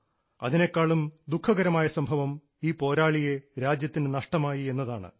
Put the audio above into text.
അതിനെക്കാളും ദുഃഖകരമായ സംഭവം ഈ പോരാളിയെ രാജ്യത്തിന് നഷ്ടമായി എന്നതാണ്